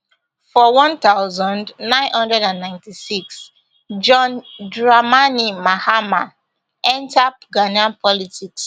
for one thousand, nine hundred and ninety-six john dramani mahama enta ghanaian politics